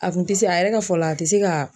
A kun ti se a yɛrɛ ka fɔ la, a ti se ka